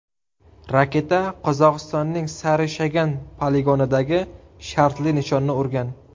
Raketa Qozog‘istonning Sari-Shagan poligonidagi shartli nishonni urgan.